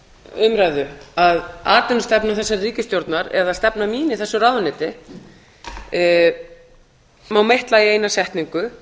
umræðu að atvinnustefna þessarar ríkisstjórnar eða stefna mín í þessu ráðuneyti má meitla í eina setningu